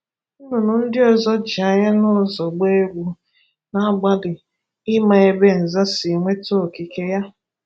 Nnụnụ ndị ọzọ ji anya n’ụzo gbaa egwu, na-agbalị ima ebe Nza si nweta okike ya.